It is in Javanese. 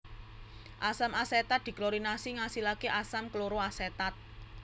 Asam asetat diklorinasi ngasilake asam kloroasetat